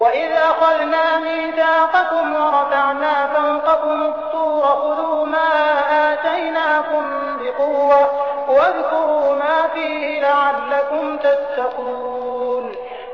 وَإِذْ أَخَذْنَا مِيثَاقَكُمْ وَرَفَعْنَا فَوْقَكُمُ الطُّورَ خُذُوا مَا آتَيْنَاكُم بِقُوَّةٍ وَاذْكُرُوا مَا فِيهِ لَعَلَّكُمْ تَتَّقُونَ